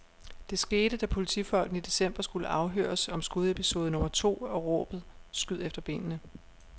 Det skete, da politifolkene i december skulle afhøres om skudepisode nummer to og råbet skyd efter benene.